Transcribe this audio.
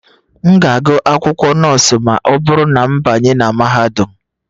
M ga-agụ akwụkwọ nọọsụ ma ọ bụrụ na m banye na mahadum